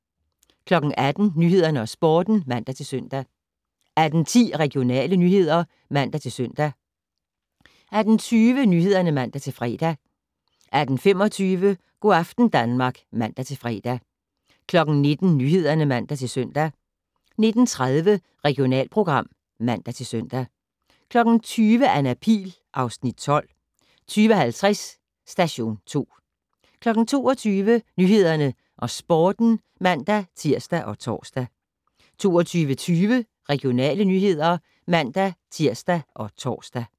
18:00: Nyhederne og Sporten (man-søn) 18:10: Regionale nyheder (man-søn) 18:20: Nyhederne (man-fre) 18:25: Go' aften Danmark (man-fre) 19:00: Nyhederne (man-søn) 19:30: Regionalprogram (man-søn) 20:00: Anna Pihl (Afs. 12) 20:50: Station 2 22:00: Nyhederne og Sporten (man-tir og tor) 22:20: Regionale nyheder (man-tir og tor)